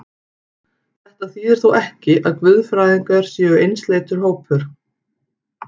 Þetta þýðir þó ekki, að guðfræðingar séu einsleitur hópur.